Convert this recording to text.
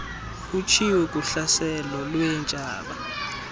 utshiwo kuhlaselo lweentshaba